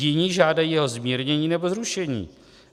Jiní žádají o zmírnění nebo zrušení.